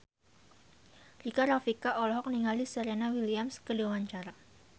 Rika Rafika olohok ningali Serena Williams keur diwawancara